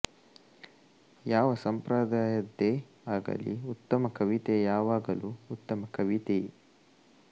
ಯಾವ ಸಂಪ್ರದಾಯದ್ದೇ ಆಗಲಿ ಉತ್ತಮ ಕವಿತೆ ಯಾವಾಗಲೂ ಉತ್ತಮ ಕವಿತೆಯೇ